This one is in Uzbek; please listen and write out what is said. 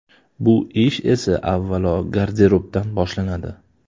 Bu ish esa avvalo garderobdan boshlanadi.